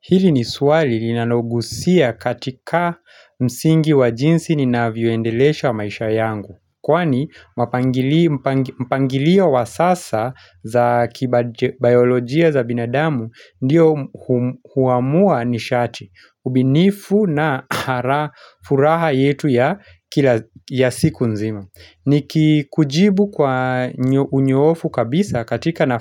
Hili ni swali linanogusia katika msingi wa jinsi ni navio endelesha wa maisha yangu. Kwani mpangilia wa sasa za kibayolojia za binadamu ndio huamua nishati. Ubinifu na furaha yetu ya siku nzima. Ni kujibu kwa unyoofu kabisa katika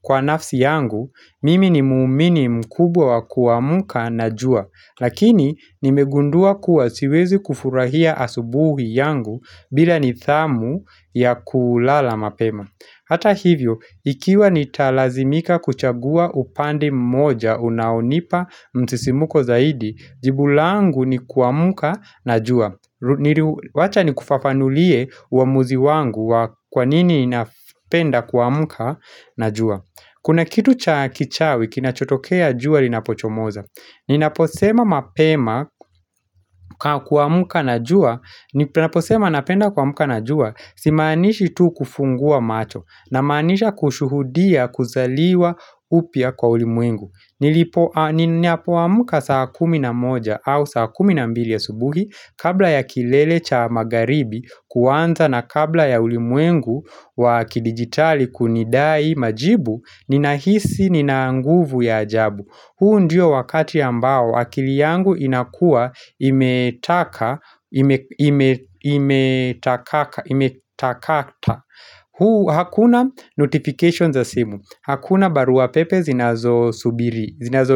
kwa nafsi yangu. Mimi ni muumini mkubwa wa kuamuka na jua Lakini nimegundua kuwa siwezi kufurahia asubuhi yangu bila nidhamu ya kulala mapema hata hivyo, ikiwa nitalazimika kuchagua upande mmoja unaonipa msisimuko zaidi jibu langu ni kuamuka na jua Wacha ni kufafanulie waamuzi wangu Kwa nini ninapenda kuamuka na jua. Kuna kitu cha kichawi kinachotokea juwa linapochomoza. Ninaposema mapema kuamka na jua, si manishi tu kufungua macho na manisha kushuhudia kuzaliwa upia kwa ulimuengu. Niliapoamka saa kumi na moja au saa kumi na mbili ya subuhi Kabla ya kilele cha magaribi kuanza na kabla ya ulimwengu wa kidigitali kunidai majibu ninahisi nina nguvu ya ajabu huu ndio wakati ambao wakili yangu inakua imetaka huu hakuna notification za simu hakuna barua pepe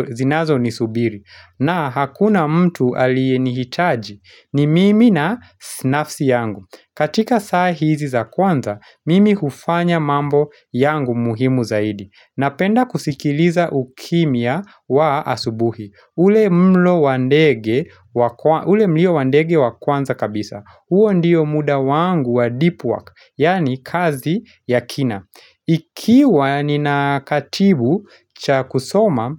zinazo ni subiri na hakuna mtu alienihitaji ni mimi na nafsi yangu katika sahizi za kwanza Mimi hufanya mambo yangu muhimu zaidi Napenda kusikiliza ukimia wa asubuhi ule mlo wandege ule mlio wandege wa kwanza kabisa huo ndiyo muda wangu wa deep work Yani kazi ya kina ikiwa ninakatibu cha kusoma,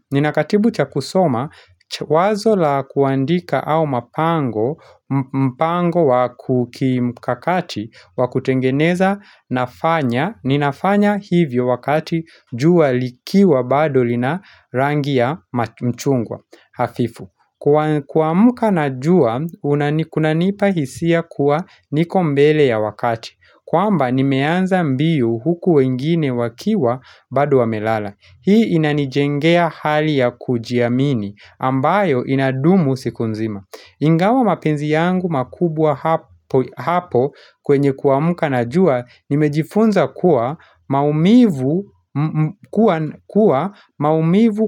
wazo la kuandika au mapango, mpango wakukimkakati, wakutengeneza nafanya, ninafanya hivyo wakati jua likiwa bado lina rangi ya mchungwa hafifu Kwa muka najua kunanipa hisia kuwa niko mbele ya wakati kwamba nimeanza mbio huku wengine wakiwa bado wamelala Hii inanijengea hali ya kujiamini ambayo inadumu siku nzima Ingawa mapenzi yangu makubwa hapo kwenye kuamka najua Nimejifunza kuwa maumivu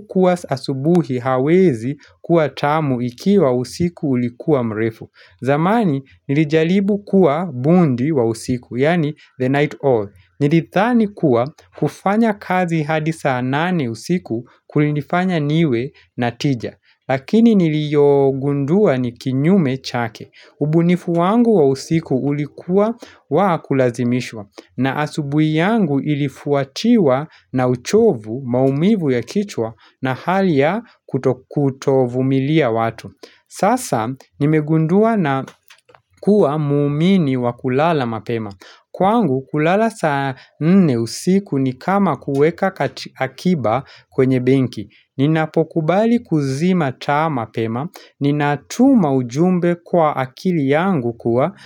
kuwa asubuhi hawezi kuwa tamu ikiwa usiku ulikuwa mrefu zamani nilijalibu kuwa bundi wa usiku, yani the night owl Nilithani kuwa kufanya kazi hadi saa nane usiku kulinifanya niwe na tija Lakini niliogundua ni kinyume chake ubunifu wangu wa usiku ulikuwa wakulazimishwa na asubuhi yangu ilifuatiwa na uchovu maumivu ya kichwa na hali ya kutokutovu milia watu. Sasa nimegundua na kuwa muumini wa kulala mapema. Kwangu kulala saa nne usiku ni kama kuweka akiba kwenye bengi Ninapokubali kuzima taa mapema Ninatuma ujumbe kwa akili yangu kuwa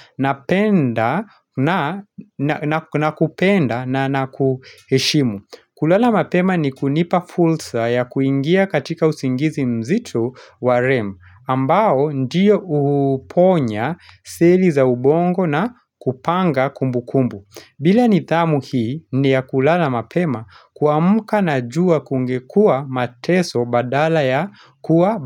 na kupenda na nakuheshimu. Kulala mapema ni kunipa fulsa ya kuingia katika usingizi mzitu wa rem ambao ndiyo uponya seli za ubongo na kupanga kumbu kumbu bila nidhamu hii ni ya kulala mapema kamka na jua kungekua mateso badala ya kuwa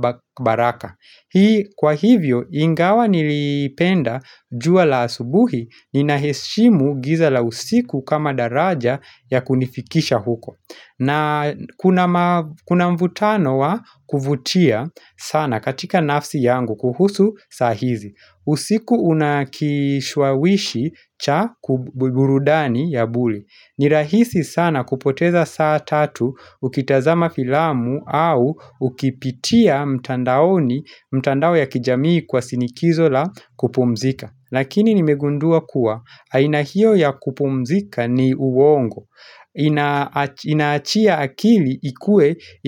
baraka Hii kwa hivyo ingawa nilipenda jua la asubuhi inaheshimu giza la usiku kama daraja ya kunifikisha huko na kuna mvutano wa kuvutia sana katika nafsi yangu kuhusu sahizi usiku unakishwawishi cha kuburudani ya buli Nirahisi sana kupoteza saa tatu ukitazama filamu au ukipitia mtandaoni mtandao ya kijamii kwa sinikizo la kupumzika Lakini nimegundua kuwa haina hiyo ya kupumzika ni uongo Inaachia akili ikue.